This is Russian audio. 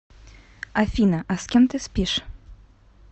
афина а с кем ты спишь